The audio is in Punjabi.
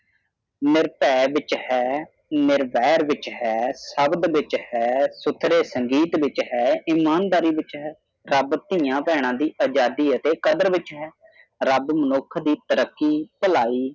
ਨਿਰਪੈ ਵਿਚ ਹੈ ਨਿਰਬੈਰ ਵਿਚ ਹੈ ਸ਼ਬਦ ਵਿਚਾਰ ਹੈ ਸੁਖੇ ਸੰਗਤ ਵਿਚ ਹੈ ਇਮਾਨਦਾਰਿ ਵਿਚ ਹੈ ਰਾਬ ਥੀਆ ਦਰਦ ਦੀ ਅਜ਼ਾਦੀ ਆਟੇ ਕਦਾਰ ਵਿਚ ਹੈ ਰਬ ਮੂਹ ਦੀ ਤਾਰੀਕੀ ਭਲਾਈ।